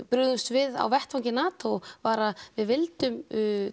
brugðumst við á vettvangi NATO var að við vildum